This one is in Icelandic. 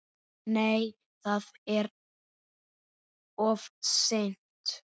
Nei, það er of seint.